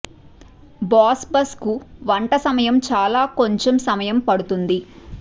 boss బస్ కు వంట సమయం చాలా కొంచెం సమయం పడుతుంది